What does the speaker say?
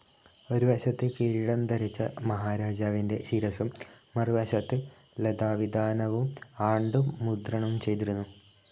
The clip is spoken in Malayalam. ഒരു വശത്ത് കിരീടം ധരിച്ച മഹാരാജാവിന്റെ ശിരസ്സും മറുവശത്ത് ലതാവിതാനവും ആണ്ടും മുദ്രണം ചെയ്തിരുന്നു.